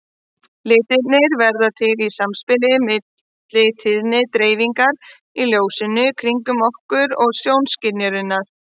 Litirnir verða til í samspili milli tíðnidreifingar í ljósinu kringum okkur og sjónskynjunarinnar.